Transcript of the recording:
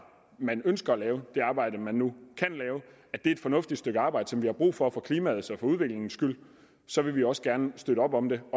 man ønsker at lave og det arbejde man nu kan lave er et fornuftigt stykke arbejde som der er brug for for klimaets og for udviklingens skyld så vil vi også gerne støtte op om det